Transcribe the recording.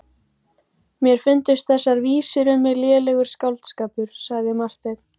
Mér fundust þessar vísur um mig lélegur skáldskapur, sagði Marteinn.